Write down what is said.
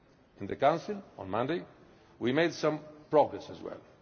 In the Council on Monday we made some progress as well.